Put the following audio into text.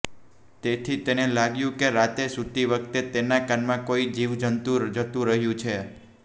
તેથી તેને લાગ્યુ કે રાતે સૂતી વખતે તેના કાનમાં કોઇ જીવજંતુ જતું રહ્યુ છે